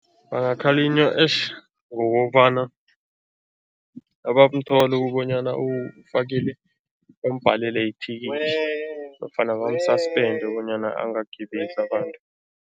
Bangakhalinywa eish ngokobana abamthola ukubonyana bambhalele ithikithi nofana bamu-suspend bonyana angagibezi abantu.